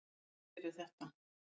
Hverjir eru þetta?